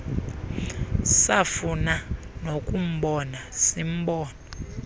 safuna nokumbona simbona